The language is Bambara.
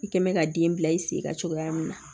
I kɛn bɛ ka den bila i sen kan cogoya min na